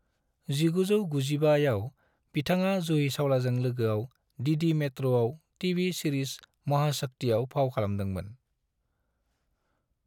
1995 आव बिथाङा जूही चावलाजों लोगोआव डीडी मेट्रआव टीवी सिरिस महाशक्तिआव फाव खालामदोंमोन।